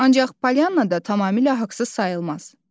Ancaq Polyannada tamamilə haqsız sayılmaz.